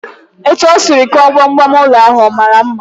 Etu e sịrị kụọ gbam gbam n'ụlọ ahụ, ọ maara mma?